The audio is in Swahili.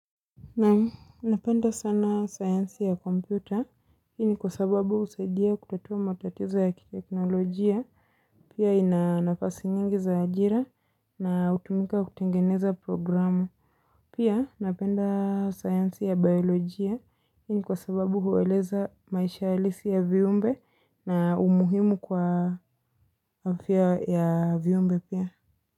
Na, napenda sana science ya kompyuta, hii ni kwa sababu usaidia kutatua matatizo ya kiteknolojia, pia inanafasi nyingi za ajira na utumika kutengeneza programu, pia napenda science ya biolojia, hii ni kwa sababu huweleza maisha halisi ya viumbe na umuhimu kwa afya ya viumbe pia.